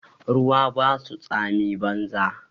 Ruwa ba su tsami banza